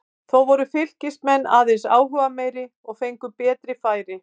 Þó voru Fylkismenn aðeins áhugameiri og fengu betri færi.